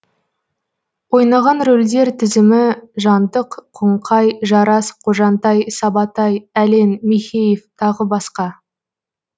ойнаған рольдер тізімі жантық қоңқай жарас қожантай сабатай әлен михеев тағы басқа